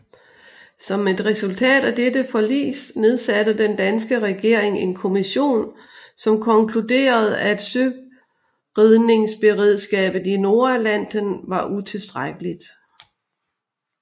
Som et resultat af dette forlis nedsatte den danske regering en kommission som konkluderede at søredningsberedskabet i Nordatlanten var utilstrækkeligt